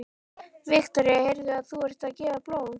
Viktoría: Heyrðu, og þú ert að gefa blóð?